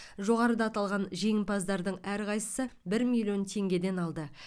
жоғарыда аталған жеңімпаздардың әрқайсысы бір миллион теңгеден алды